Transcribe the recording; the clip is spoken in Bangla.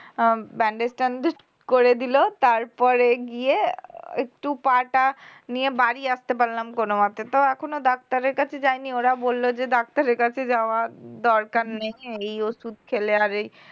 উম bandage ট্যান্ডেজ করে দিল তার পরে গিয়ে একটু পা টা নিয়ে বাড়ি আসতে পারলাম কোনওমতে তো এখনও ডাক্তারের কাছে যায়নি ওরা বলল যে ডাক্তারের কাছে যাওয়ার দরকার নেই এই ওষুধ খেলে আর এই